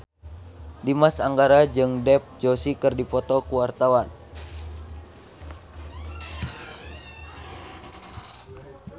Dimas Anggara jeung Dev Joshi keur dipoto ku wartawan